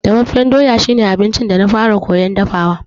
Dafaffen doya shi ne abincin da na fara koyan dafawa.